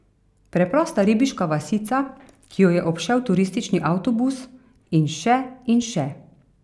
Preprosta ribiška vasica, ki jo je obšel turistični avtobus, in še in še.